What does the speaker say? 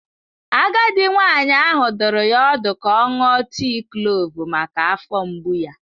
Agadi nwanyị ahụ dụrụ ya ọdụ ka ọ ṅụọ tii klove maka afọ mgbu ya.